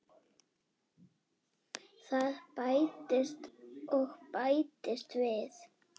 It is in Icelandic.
Það bætist og bætist við.